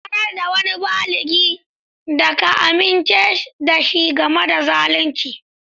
Sanar da wani baligi da ka amince da shi game da zalunci.